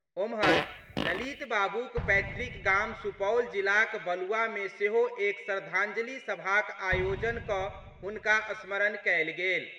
ओम्हर, ललित बाबूक पैतृक गाम सुपौल जिलाक बलुआ मे सेहो एक श्रद्धांजलि सभाक आयोजन कऽ हुनका स्मरण कयल गेल।